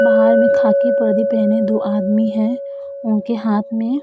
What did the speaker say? बाहर में खाकी वर्दी पहने दो आदमी है उनके हाथ में --